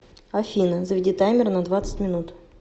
афина заведи таймер на двадцать минут